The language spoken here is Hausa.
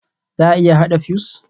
Za a iya haɗa fuse?